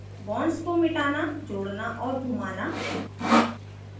* bonds को मिटाना जोड़ना और घुमाना